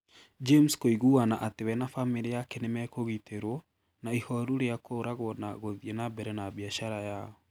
James kũiguana atĩ we na famĩlĩ yake nĩ mekũgitĩrũo, na ihoru rĩa kũragwo na gũthiĩ na mbere na biacara yao.